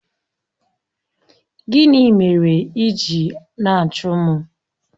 Gịnị mere ị ji na-achụ m?